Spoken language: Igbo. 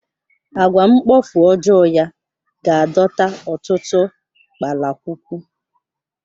Àgwà mkpofu ọjọọ ya ga-adọta ọtụtụ kpalakwukwu.